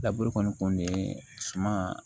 Laburu kɔni kun bɛ suma